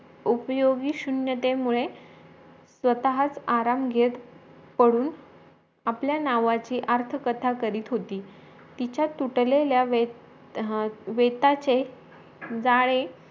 उपयोगी शून्यतेमुळे स्वतःच आराम घेत पडून आपल्या नावाची अर्थ कथा करित होती तिच्या तुटलेल्या वेत वेत्याचे जाळे